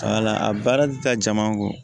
a baara tɛ taa jama kɔ